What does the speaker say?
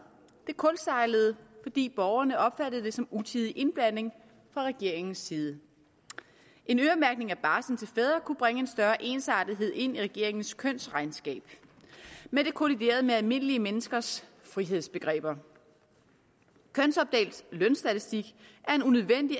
det kuldsejlede fordi borgerne opfattede det som utidig indblanding fra regeringens side en øremærkning af barsel til fædre kunne bringe en større ensartethed ind i regeringens kønsregnskab men det kolliderede med almindelige menneskers frihedsbegreber kønsopdelt lønstatistik er en unødvendig